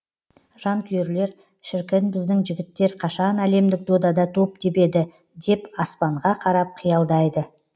жанкүйерлер шіркін біздің жігіттер қашан әлемдік додада доп тебеді деп аспанға қарап қиялдайды